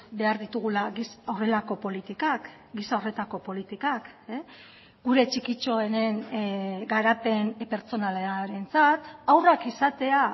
behar ditugula horrelako politikak giza horretako politikak gure txikitxoenen garapen pertsonalarentzat haurrak izatea